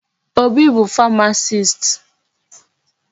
Obi bụ pharmacist.